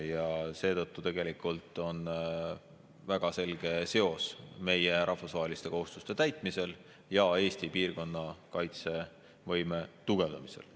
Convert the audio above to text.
Ja seetõttu on tegelikult väga selge seos meie rahvusvaheliste kohustuste täitmise ja Eesti piirkonna kaitsevõime tugevdamise vahel.